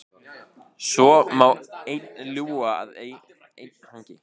Svo má einn ljúga að einn hangi.